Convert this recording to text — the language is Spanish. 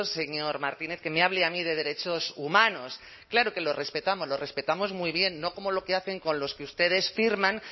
señor martínez que me hable a mí de derechos humanos claro que los respetamos los respetamos muy bien no como lo que hacen con los que ustedes firman